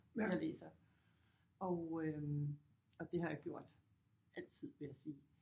Jeg læser og øh og det har jeg gjort altid vil jeg sige